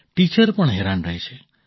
teacher પણ હેરાન રહે છે